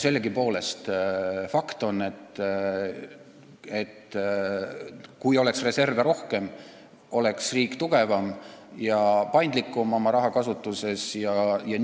Sellegipoolest on fakt, et kui reserve oleks rohkem, siis oleks riik tugevam ja oma rahakasutuses paindlikum.